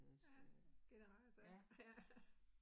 Ja, generator, ja